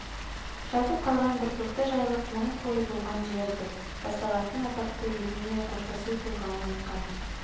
жатып қалған бір тоқты жайылып мың қой болған жер деп басталатын атақты еділмен қоштасу толғауын айтқан